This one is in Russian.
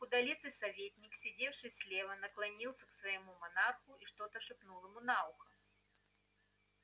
худолицый советник сидевший слева наклонился к своему монарху и что-то шепнул ему на ухо